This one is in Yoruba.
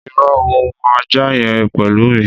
Ìrõ, mò n mu àjá yen pelu mi